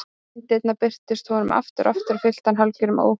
Myndirnar birtust honum aftur og aftur og fylltu hann hálfgerðum óhug.